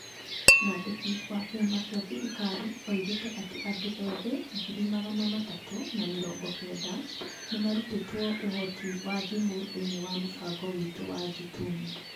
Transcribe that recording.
Mwandiki wa kĩama kĩa thirikari oigire atĩ andũ ethĩ ngiri magana matatũ na mĩrongo kenda nĩ marutĩtwo ũhoti wa thimũ thĩinĩ wa mũbango witũ wa "Jitume".